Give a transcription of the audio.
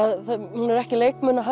hún er ekki